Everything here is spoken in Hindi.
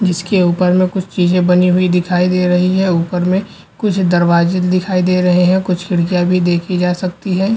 जिसके ऊपर मे कुछ चीज़े बनी हुई दिखाई दे रही हैं। ऊपर में कुछ दरवाजे दिखाई दे रहे हैं। कुछ खिड़किया भी देखी जा सकती हैं।